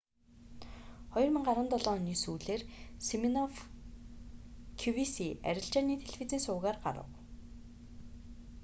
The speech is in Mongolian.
2017 оны сүүлээр симинофф кювиси арилжааны телевизийн сувгаар гарав